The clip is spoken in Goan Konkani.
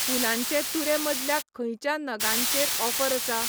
फुुलांचे तुरे मदल्या खंयच्या नगांचेरऑफर आसा?